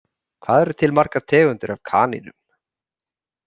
Hvað eru til margar tegundir af kanínum?